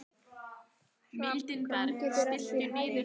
Hrafn, hvernig er veðrið úti?